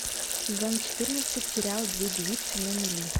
сезон четырнадцать сериал две девицы на мели